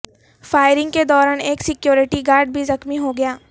firing کے دوران ایک سیکورٹی گارڈ بھی زخمی ہوگیا